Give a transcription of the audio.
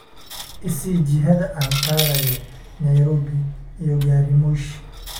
i sii jihada aan aadayo nairobi iyo gariimoshi